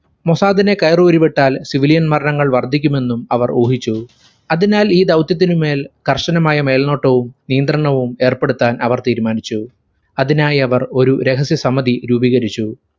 മൊസാദിനെ കയറൂരി വിട്ടാൽ civilian മരണങ്ങൾ വർധിക്കുമെന്നും അവർ ഊഹിച്ചു. അതിനാൽ ഈ ദൗത്യത്തിനു മേൽ കർശനമായ മേൽനോട്ടവും നിയന്ത്രണവും ഏർപ്പെടുത്താൻ അവർ തീരുമാനിച്ചു. അതിനായി അവർ ഒരു രഹസ്യ സമിധി രൂപീകരിച്ചു.